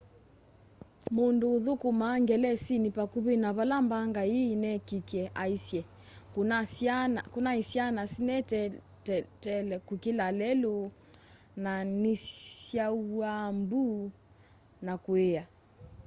mundũ uthukũmaa ngelesinĩ pakuvĩ na vala mbanga ĩi yineekikie aisye kunai syana sineteele kukĩla lelũ na ni syauwaa mbũ na kuia